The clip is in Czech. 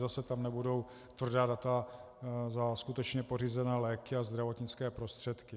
Zase tam nebudou tvrdá data za skutečně pořízené léky a zdravotnické prostředky.